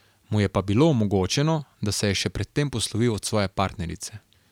Mu je pa bilo omogočeno, da se je še pred tem poslovil od svoje partnerice.